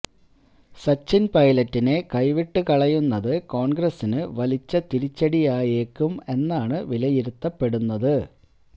സച്ചിന് പൈലറ്റിനെ കൈവിട്ട് കളയുന്നയുന്നത് കോണ്ഗ്രസിന് വലിയ തിരിച്ചടിയായേക്കും എന്നാണ് വിലയിരുത്തപ്പെടുന്നത്